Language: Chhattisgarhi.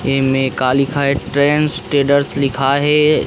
एमे का लिखा हे ट्रेंड्स ट्रेडर्स लिखा हे।